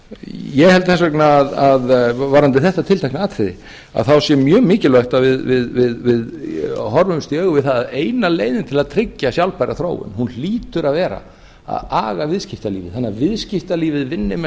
ég held þess vegna að varðandi þetta tiltekna atriði að þá sé mjög mikilvægt að við horfumst í augu við það að eina leiðin til að tryggja sjálfbæra þróun hún hlýtur að vera að aga viðskiptalífið þannig að viðskiptalífið vinni með